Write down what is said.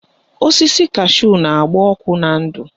Osisi kashu na-agba ọkụ na ndụ